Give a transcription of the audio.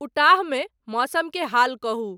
Utah में मौसम के हाल कहूं